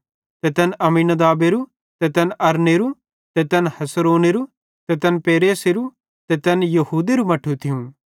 ते तैन अम्मीनादाबेरू ते तैन अरनेरू ते तै हेस्रोनेरू ते तैन पेरेसेरू ते तैन यहूदेरू मट्ठू थियूं